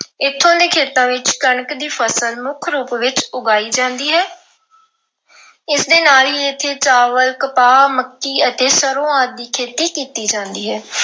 ਇੱਥੋਂ ਦੇ ਖੇਤਾਂ ਵਿੱਚ ਕਣਕ ਦੀ ਫਸਲ ਮੁੱਖ ਰੂਪ ਵਿੱਚ ਉਗਾਈ ਜਾਂਦੀ ਹੈ। ਇਸ ਦੇ ਨਾਲ ਹੀ ਇੱਥੇ ਚਾਵਲ, ਕਪਾਹ, ਮੱਕੀ ਅਤੇ ਸਰ੍ਹੋਂ ਆਦਿ ਦੀ ਖੇਤੀ ਕੀਤੀ ਜਾਂਦੀ ਹੈ।